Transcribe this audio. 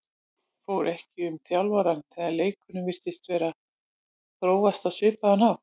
Fór ekki um þjálfarann þegar leikurinn virtist vera að þróast á svipaðan hátt?